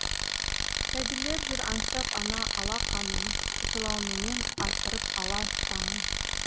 сәбилер жүр аңсап ана алақанын жылауменен атырып ала таңын